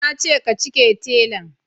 Nace ka cike telan